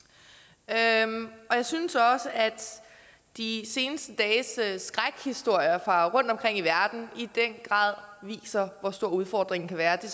af dem og jeg synes også at de seneste dages skrækhistorier fra rundtomkring i verden i den grad viser hvor stor udfordringen kan være det